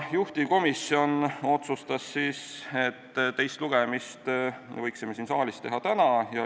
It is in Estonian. Juhtivkomisjon otsustas, et teise lugemise võiksime siin saalis teha täna.